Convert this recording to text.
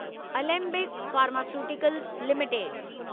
Alembic pharmaceuticals limited